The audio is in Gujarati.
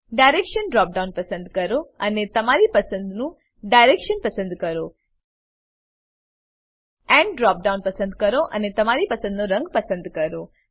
ડાયરેક્શન ડ્રોપ ડાઉન પસંદ કરો અને તમારી પસંદનું ડાયરેક્શન પસંદ કરો એન્ડ ડ્રોપ ડાઉન પસંદ કરો અને તમારી પસંદનો રંગ પસંદ કરો